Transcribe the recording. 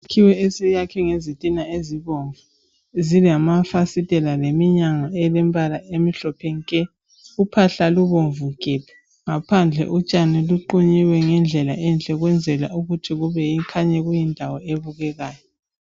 Isakhiwo esiyakhwe ngezitina ezibomnvu gebhu, iminyango umhlophe nke ,uphahla lubomnvu gebhu, utshani benziwe ngendlela enhle ukuze kukhanya njengendawo ebukekayo.